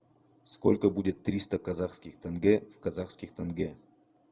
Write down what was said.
сколько будет триста казахских тенге в казахских тенге